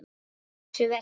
Þær uxu vel.